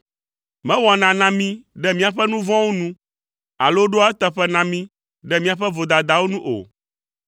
Mewɔna na mí ɖe míaƒe nu vɔ̃wo nu, alo ɖoa eteƒe na mí ɖe míaƒe vodadawo nu o.